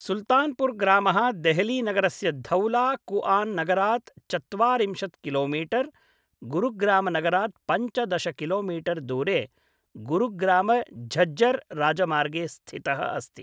सुल्तानपुर ग्रामः देहली नगरस्य धौला कुआन नगरात् चत्वारिंशत् किलोमीटर्, गुरुग्राम नगरात् पञ्चदश किलोमीटर् दूरे गुरुग्राम झज्जर राजमार्गे स्थितः अस्ति ।